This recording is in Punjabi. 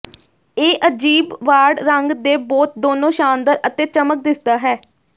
ਇਹ ਅਜੀਬ ਵਾੜ ਰੰਗ ਦੇ ਬੋਤ ਦੋਨੋ ਸ਼ਾਨਦਾਰ ਅਤੇ ਚਮਕ ਦਿਸਦਾ ਹੈ